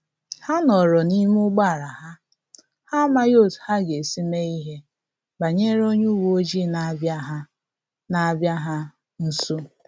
Ha nọrọ n’ime ụgbọala ha, ha amaghị otú ha ga-esi mee ihe banyere onye uweojii na-abia ha na-abia ha nso